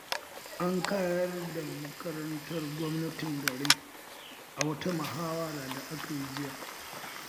An ƙayar da makarantar gwamnatin garin a wata muhawara da aka yi jiya